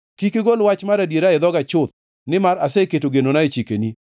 Kik igol wach mar adiera e dhoga chuth, nimar aseketo genona e chikeni.